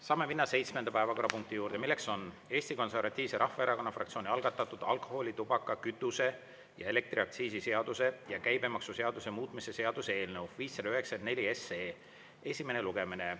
Saame minna seitsmenda päevakorrapunkti juurde, mis on Eesti Konservatiivse Rahvaerakonna fraktsiooni algatatud alkoholi-, tubaka-, kütuse- ja elektriaktsiisi seaduse ja käibemaksuseaduse muutmise seaduse eelnõu 594 esimene lugemine.